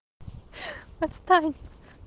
отстань